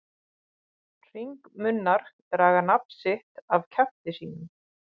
Hringmunnar draga nafn sitt af kjafti sínum.